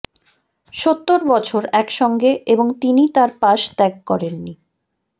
সত্তর বছর একসঙ্গে এবং তিনি তার পাশ ত্যাগ করেন নি